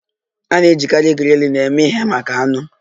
A na-ejikarị grillin eme ihe maka anụ.